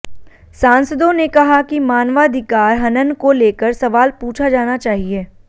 सांसदों ने कहा कि मानवाधिकार हनन को लेकर सवाल पूछा जाना चाहिए